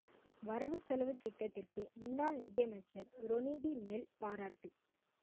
வரவு செலவுத்திட்டத்திற்கு முன்னாள் நிதி அமைச்சர் ரொனி டி மெல் பாராட்டு